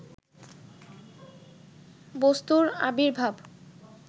বস্তুর আবির্ভাব